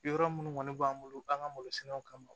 Yɔrɔ minnu kɔni b'an bolo an ka malo sɛnɛw kama